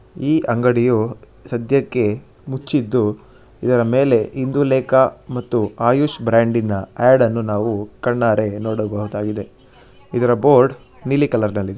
ಈ ಅಂಗಡಿಯು ಸಧ್ಯಕ್ಕೆ ಮುಚ್ಚಿದ್ದು ಇದರ ಮೇಲೆ ಇಂದುಲೇಖಾ ಮತ್ತು ಆಯುಷ್ ಬ್ರಾಂಡಿನ ಆಡ್ ಅನ್ನು ನಾವು ಕಣ್ಣಾರೆ ನೋಡಬಹುದಾಗಿದೆ. ಇದರ ಬೋರ್ಡ್ ನೀಲಿ ಕಲರ್ ಅಲ್ಲಿದೆ.